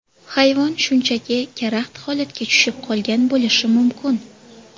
Hayvon shunchaki karaxt holatga tushib qolgan bo‘lishi mumkin.